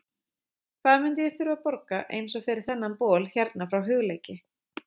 Hvað myndi ég þurfa að borga eins og fyrir þennan bol hérna frá Hugleiki?